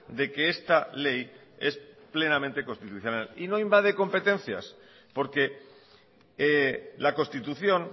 de que esta ley es plenamente constitucional y no invade competencias porque la constitución